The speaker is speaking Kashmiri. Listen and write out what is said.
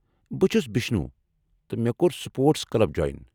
بہٕ چھُس بشنوٗ، تہٕ مےٚ كور سپورٹس کٕلب جویِن ۔